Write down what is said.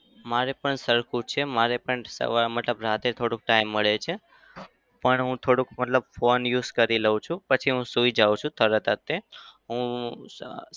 મારે પણ સરખું જ છે. મારે પણ સવાર મતલબ રાત્રે થોડો time મળે છે. પણ હું થોડું મતલબ phone use કરી લઉ છું. પછી હું સુઈ જાવ છું તરત જ તે હું સ~